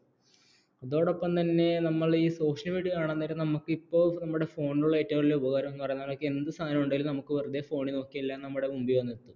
അതോടൊപ്പം തന്നെ നമ്മൾ ഈ social media കാണാൻ നേരം നമുക്ക് ഇപ്പോ നമ്മുടെ phone ലുള്ള ഏറ്റവും വലിയ ഉപകാരം എന്നു പറയുന്നത് നമുക്ക് എന്തു സാദനം ഉണ്ടെങ്കിലും നമുക്ക് വെറുതെ phone ൽ നോക്കിയാൽ എല്ലാം നമ്മുടെ മുമ്പിൽ വരും